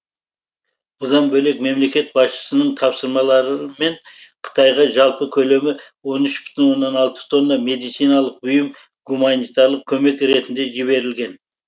бұдан бөлек мемлекет басшысының тапсырмаларымен қытайға жалпы көлемі он үш бүтін оннан алты тонна медициналық бұйым гуманитарлық көмек ретінде жіберілген